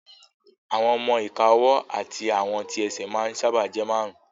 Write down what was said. Àwọn ọmọ-ìka ọwọ́ àti àwọn tí ẹsẹ̀ ma ń sáábà jẹ́ márùn